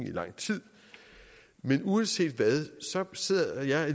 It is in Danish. i lang tid men uanset hvad sidder jeg